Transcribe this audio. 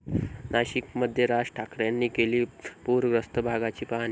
नाशिकमध्ये राज ठाकरेंनी केली पुरग्रस्त भागाची पाहणी